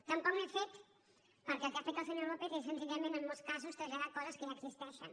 tampoc n’he fet perquè el que ha fet el senyor lópez és senzillament en molts casos traslladar coses que ja existeixen